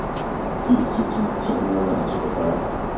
firs tusind to hundrede og toogfyrre